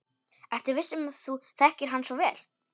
Ertu viss um að þú þekkir hann svo vel?